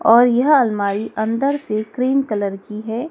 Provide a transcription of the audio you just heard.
और यह अलमारी अंदर से क्रीम कलर की है।